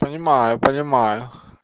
понимаю понимаю